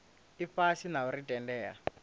ifhasi na u ri tendela